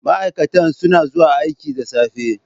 Ma'aikata suna zuwa aiki da safe.